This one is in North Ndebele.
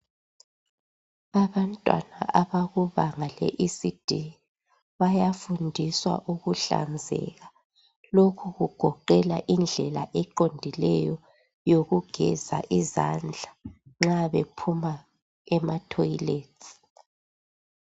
Abantwana abakubanga le ECD bayafundiswa ukuhlanzeka lokhu kugoqela indlela eqondileyo yokugeza izandla nxa bephuma ematoyiletsi.